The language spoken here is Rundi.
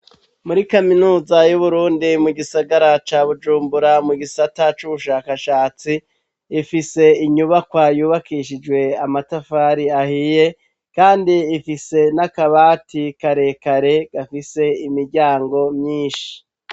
Muri kaminuza y'Uburundi mu gisagara ca Bujumbura mu gisata c'ubushakashatsi, ifise inyubakwa yubakishijwe amatafari ahiye kandi ifise n'akabati karekare gafise imiryango myinshi.